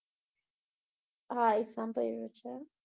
હા, ઈ સાંભળ્યુંં છે